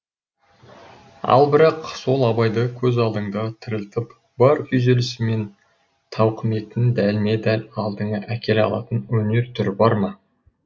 ал бірақ сол абайды көз алдыңда тірілтіп бар күйзелісі мен тауқіметін дәлме дәл алдыңа әкеле алатын өнер түрі бар ма